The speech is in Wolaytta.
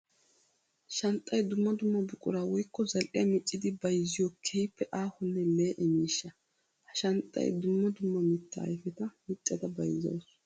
Shanxxay dumma dumma buqura woykko zali'iya miccidi bayzziyo keehippe aahonne lee'e miishsha. Ha shanxxay dumma dumma mitta ayfetta miccadda bayzzawusu.